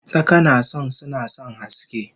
Tsaka nason sunasan haske